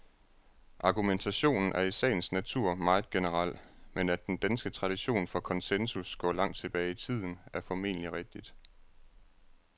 Argumentationen er i sagens natur meget generel, men at den danske tradition for konsensus går langt tilbage i tiden, er formentlig rigtigt.